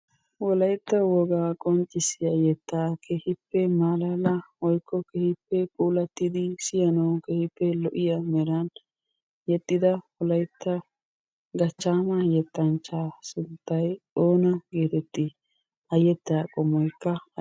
Wolaytta wogaa qonccissiya yettaa keehippe maalala woykko keehippe puulati siyanawu keehippe lo'iya meran yexxida wolaytta gachchaama yetanchaa sunttay oona geetettii? ha yetaa qommoykka aybe...